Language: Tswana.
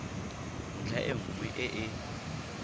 ntlha e nngwe e e